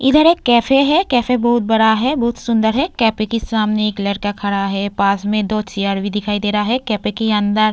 इधर एक कैफे है। कैफे बहोत बड़ा है बहोत सुंदर है। कैफे के सामने एक लड़का खड़ा है। पास में दो चेयर भी दिखाई दे रहा हैं। कैफे के अंदर --